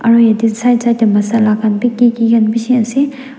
aru yate Side side teh masala khan bhi ki ki khan bishi ase.